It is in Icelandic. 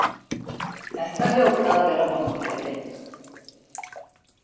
Þetta hljóta að vera vonbrigði?